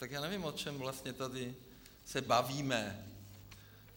Tak já nevím, o čem vlastně se tady bavíme.